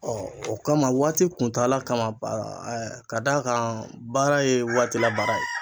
o kama waati kuntaala kama ka d'a kan baara ye waati la baara ye.